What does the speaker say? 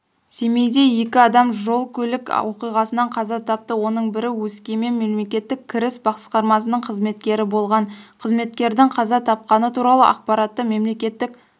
семейде екі адам жол-көлік оқиғасынан қаза тапты оның бірі өскемен мемлекеттік кіріс басқармасының қызметкері болған қызметкердің қаза тапқаны туралы ақпаратты мемлекеттік